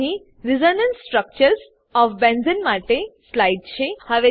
અહીં resonance structures of benzene માટે slide છે